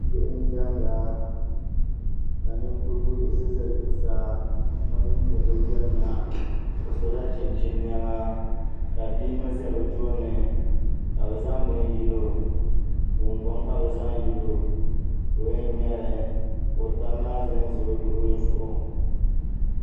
Bihi n diɛmda ka Ninkurigu yiɣisi ʒɛ zuɣusaa o ninni bi yirina o sola chinchin niɛma ka bia ŋo ʒɛ bi tooni ka bi zaŋ gungoŋ yilo ka o yɛn ŋmɛli ka o tabi maa ƶɛnʒɛ o luɣuli zuɣu